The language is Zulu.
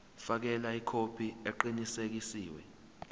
fakela ikhophi eqinisekisiwe